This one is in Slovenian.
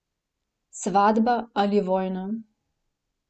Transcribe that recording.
Svatba ali vojna.